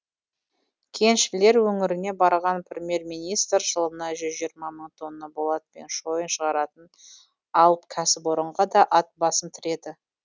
кеншілер өңіріне барған премьер министр жылына жүз жиырма мың тонна болат пен шойын шығаратын алып кәсіпорынға да ат басын тіреді